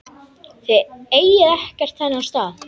Þið eigið ekkert þennan stað.